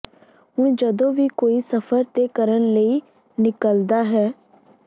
ਹੁਣ ਜਦੋਂ ਕੋਈ ਵੀ ਸਫ਼ਰ ਤੇ ਕਰਨ ਲਈ ਨਿਕਲਦਾ ਹੈ